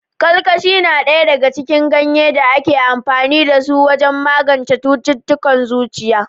Kalkashi na ɗaya daga cikin ganyen da ake amfani da su wajen magance cututtukan zuciya.